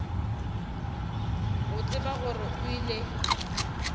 go tseba gore o ile